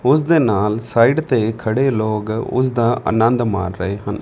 ਓਸਦੇ ਨਾਲ ਸਾਈਡ ਤੇ ਖੜੇ ਲੋਗ ਓਸਦਾ ਅਨੰਦ ਮਾਰ ਰਹੇ ਹਨ।